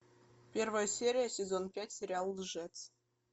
первая серия сезон пять сериал лжец